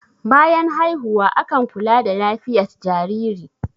bayan haihuwa akan kula da lafiyat jariri